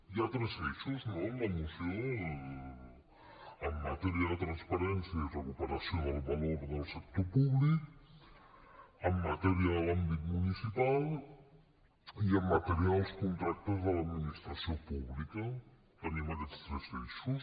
hi ha tres eixos no en la moció en matèria de transparència i recuperació del valor del sector públic en matèria de l’àmbit municipal i en matèria dels contractes de l’administració pública tenim aquests tres eixos